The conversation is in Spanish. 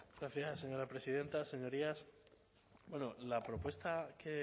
gracias señora presidenta señorías la propuesta que